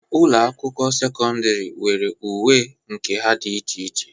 Ụlọ akwụkwọ sekọndịrị nwere uwe nke ha dị iche iche.